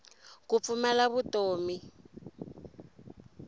ku pfumala vutomi